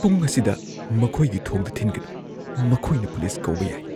ꯄꯨꯡ ꯑꯁꯤꯗ ꯃꯈꯣꯏꯒꯤ ꯊꯣꯡꯗ ꯊꯤꯟꯒꯅꯨ꯫ ꯃꯈꯣꯏꯅ ꯄꯨꯂꯤꯁ ꯀꯧꯕ ꯌꯥꯏ꯫